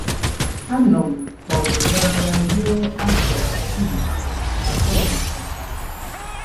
Anọ m ọgụ n'agha ruo afọ um atọ na ọkara.